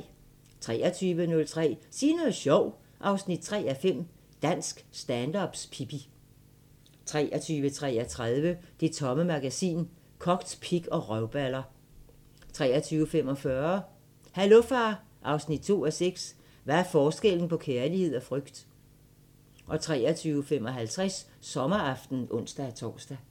23:03: Sig noget sjovt 3:5 – Dansk stand-up's Pippi 23:33: Det Tomme Magasin: Kogt pik og røvballer 23:45: Hallo far 2:6 – Hvad er forskellen på kærlighed og frygt? 23:55: Sommeraften (ons-tor)